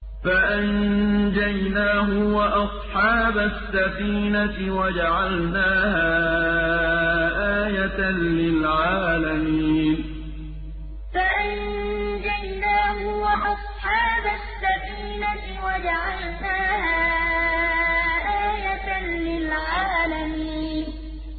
فَأَنجَيْنَاهُ وَأَصْحَابَ السَّفِينَةِ وَجَعَلْنَاهَا آيَةً لِّلْعَالَمِينَ فَأَنجَيْنَاهُ وَأَصْحَابَ السَّفِينَةِ وَجَعَلْنَاهَا آيَةً لِّلْعَالَمِينَ